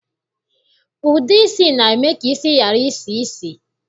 Ude isi na-eme ka isi ghara isi ísì